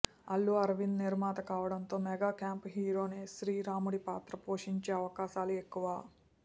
అల్లు అరవింద్ నిర్మాత కావడంతో mega camp హీరోనే శ్రీరాముడి పాత్ర పోషించే అవకాశాలు ఎక్కువ